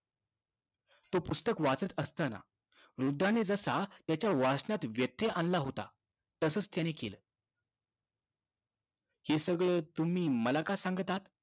तो पुस्तक वाचत असताना वृद्धाने जसा त्याच्या वाचनात व्यत्यय आणला होता, तसंच त्यानं केलं. हे सगळं तुम्ही मला का सांगत आहात?